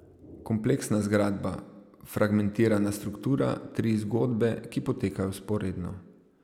Kompleksna zgradba, fragmentirana struktura, tri zgodbe, ki potekajo vzporedno ...